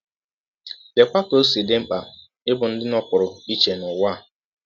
Leekwa ka ọ si dị mkpa ịbụ ndị nọpụrụ iche n’ụwa a!